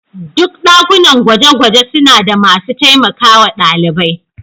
Duk ɗakunan gwaje-gwaje suna da masu taimakawa ɗalibai.